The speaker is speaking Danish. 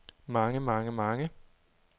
mange mange mange